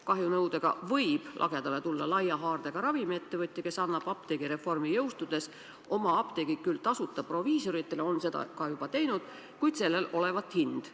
Kahjunõudega võib lagedale tulla laia haardega ravimiettevõtja, kes annab apteegireformi jõustudes oma apteegid küll tasuta proviisoritele – ta on seda juba teinud –, kuid sellel olevat hind.